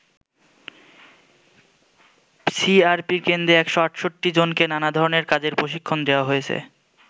সিআরপির কেন্দ্রে ১৬৮ জনকে নানা ধরনের কাজের প্রশিক্ষণ দেয়া হয়েছে।